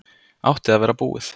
Átti að vera búið